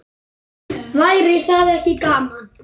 Væri það ekki gaman?